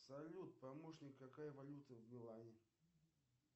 салют помощник какая валюта в милане